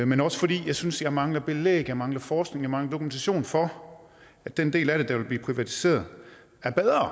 men også fordi jeg synes jeg mangler belæg jeg mangler forskning jeg mangler dokumentation for at den del af det der vil blive privatiseret er